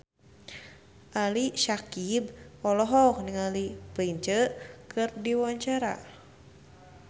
Ali Syakieb olohok ningali Prince keur diwawancara